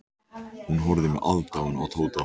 Hún horfði með aðdáun á Tóta.